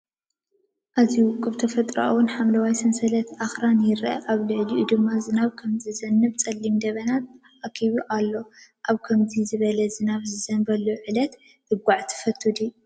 ኣዝዩ ውቁብ ተፈጥሮኣውን ሓምለዋይን ሰንሰለት ኣኽራን ይርአ። ኣብ ልዕሊኡ ድማ ዝናብ ከም ዝዘንብ ጸሊም ደበና ተኣኪቡ ኣሎ። ኣብ ከምዚ ዝበለ ዝናብ ዝዘንበሉ ዕለት ክትጓዓዝ ትፈቱ ዲኻ?